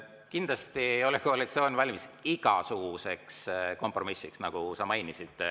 Kindlasti ei ole koalitsioon valmis igasuguseks kompromissiks, nagu sa mainisid.